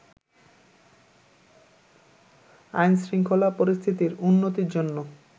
আইনশৃঙ্খলা পরিস্থিতির উন্নতির জন্য